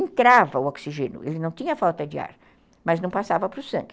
Entrava o oxigênio, ele não tinha falta de ar, mas não passava para o sangue.